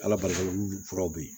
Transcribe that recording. Ala barika la olu furaw bɛ yen